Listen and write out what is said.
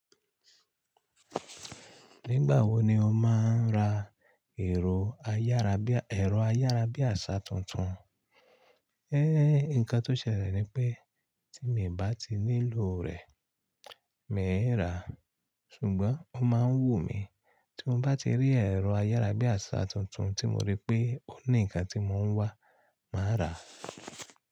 Nígbà wo ni ó máa ń ra ẹ̀rọ ayárabíàṣá tuntun? Nǹkan tó ṣẹlẹ̀ ni pé tí mi ò bá ti nílò rẹ̀, mi ò ráa. Ṣùgbọ́n ó máa ń wù mí tí mo bá ti rí ẹ̀rọ ayárabíàṣá tuntun tí mo rí pé ó ní ǹkan tí mò ń wá, màá rà á.